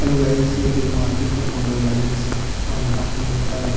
hello guys ये कोई market का फोटो है गाइस और यहां पे बहुत सारे --